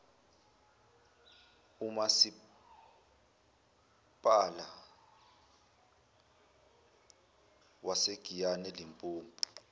umasipala wasegiyani elimpopo